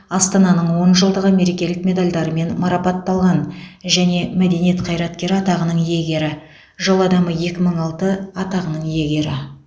астананың он жылдығы мерекелік медальдарымен марапатталған және мәдениет қайраткері атағының иегері жыл адамы екі мың алты атағының иегері